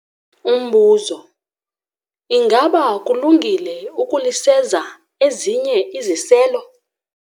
Umbuzo- Ingaba kulungile ukuliseza ezinye iziselo?